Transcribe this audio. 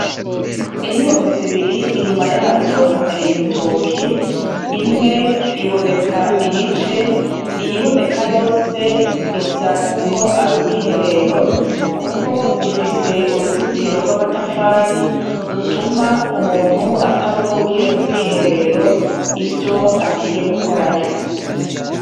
Inyubako zibiri inyuma yazo hateye ibitoke imwe iboneka igice iyiboneka yose isa nuko ari ubwiherero kuko ifise uruzitiro rw'amatafari rutuma umuntu atabona uwugiye mu bwiherero ivyo agiye gukorayo.